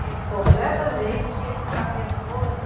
que ele ficava nervoso?